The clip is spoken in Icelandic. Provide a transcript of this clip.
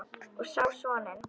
Og á soninn.